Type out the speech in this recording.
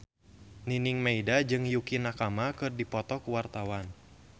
Nining Meida jeung Yukie Nakama keur dipoto ku wartawan